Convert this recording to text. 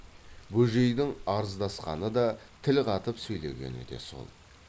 бөжейдің арыздасқаны да тіл қатып сөйлегені де сол